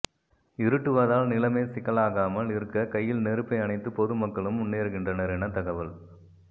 இருட்டுவதால் நிலைமை சிக்கலாகாமல் இருக்க கையில் நெருப்பை அணைத்து பொது மக்களும் முன்னேறுகின்றனர் என தகவல்